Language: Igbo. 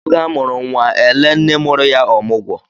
Ọ ge a mụrụ nwa e lee nne mụrụ ya ọmụgwọ.